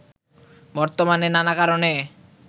বর্তমানে নানা কারণে